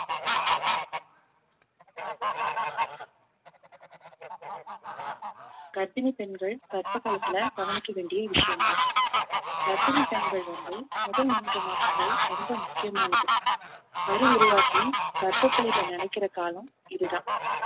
கர்ப்பிணி பெண்கள் கர்ப்ப காலத்துல கவனிக்க வேண்டிய விஷயங்கள் கர்ப்பிணி பெண்கள் வந்து முதல் மூன்று மாசங்கள் ரொம்ப முக்கியமானது கரு உருவாகி கர்ப்பப்பையில நிலைக்கிற காலம் இதுதான்